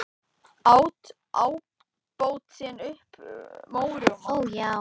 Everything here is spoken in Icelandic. át ábótinn upp mjóróma.